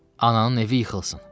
Ananın evi yıxılsın, dedi.